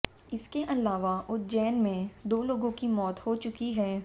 इसके अलावा उज्जेैन में दो लोगों की मौत हो चुकी है